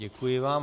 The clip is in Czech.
Děkuji vám.